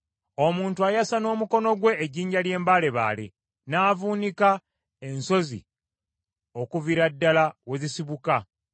Omuntu ayasa n’omukono gwe ejjinja ery’embaalebaale, n’avuunika ensozi okuviira ddala we zisibuka.